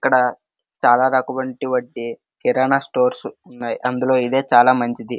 ఇక్కడ చాల రాకువంటి వాటి కిరానా స్టోర్స్ ఉన్నాయి అందులో ఇదే చానా మంచిది.